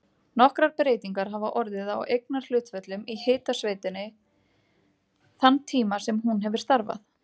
Nokkrar breytingar hafa orðið á eignarhlutföllum í hitaveitunni þann tíma sem hún hefur starfað.